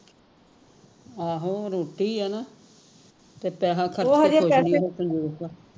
ਆਹੋ ਰੋਟੀ ਆ ਨਾ ਤੇ ਪੈਸਾ